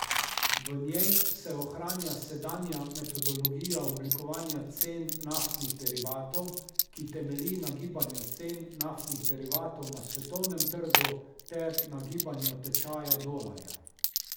V njej se ohranja sedanja metodologija oblikovanja cen naftnih derivatov, ki temelji na gibanju cen naftnih derivatov na svetovnem trgu ter na gibanju tečaja dolarja.